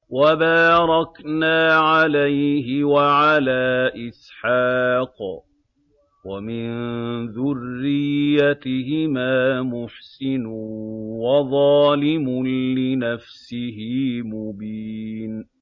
وَبَارَكْنَا عَلَيْهِ وَعَلَىٰ إِسْحَاقَ ۚ وَمِن ذُرِّيَّتِهِمَا مُحْسِنٌ وَظَالِمٌ لِّنَفْسِهِ مُبِينٌ